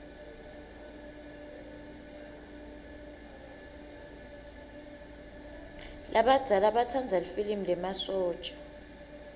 labadzala batsanza lifilimi lemasotja